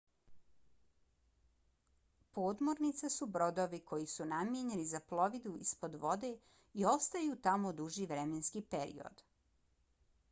podmornice su brodovi koji su namijenjeni za plovidbu ispod vode i ostaju tamo duži vremenski period